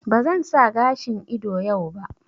Ba zan sa gashin ido yau ba